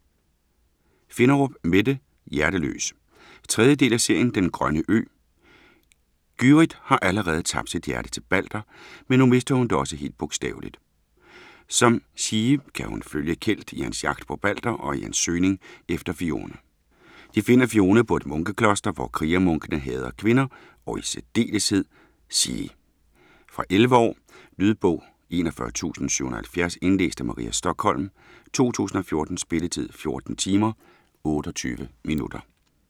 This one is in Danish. Finderup, Mette: Hjerteløs 3. del af serien Den grønne ø. Gyrith har allerede tabt sit hjerte til Balder, men nu mister hun det også helt bogstaveligt. Som sjie kan hun følge Kelt i hans jagt på Balder og i hans søgning efter Fionne. De finder Fionne på et munkekloster, hvor krigermunkene hader kvinder og i særdeleshed sjie. Fra 11 år. Lydbog 41770 Indlæst af Maria Stokhilm, 2014. Spilletid: 14 timer, 28 minutter.